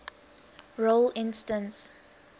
role instance